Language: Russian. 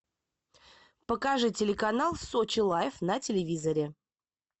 покажи телеканал сочи лайф на телевизоре